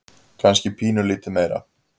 Kannski pínulítið meira.